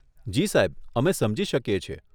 જી સાહેબ, અમે સમજી શકીએ છીએ.